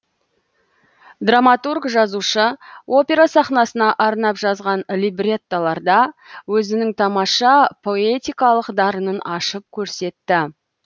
драматург жазушы опера сахнасына арнап жазған либреттоларда өзінің тамаша поэтикалық дарынын ашып көрсетті